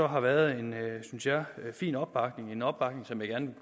har været en synes jeg fin opbakning en opbakning som jeg gerne